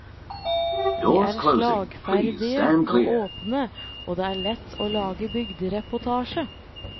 De er slagferdige og åpne, og det er lett å lage bygdereportasje.